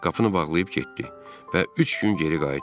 Qapını bağlayıb getdi və üç gün geri qayıtmadı.